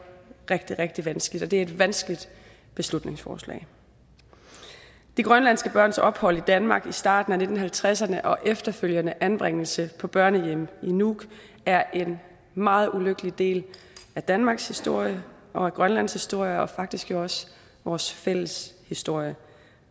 rigtig rigtig vanskeligt og at det er et vanskeligt beslutningsforslag de grønlandske børns ophold i danmark i starten af nitten halvtredserne og den efterfølgende anbringelse på børnehjemmet i nuuk er en meget ulykkelig del af danmarks historie og grønlands historie og faktisk også vores fælles historie